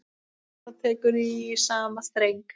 Sandra tekur í sama streng.